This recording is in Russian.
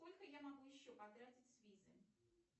сколько я могу еще потратить с визы